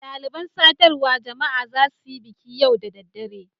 Dalibain sadarwa jama'a za su yi biki yau da dare.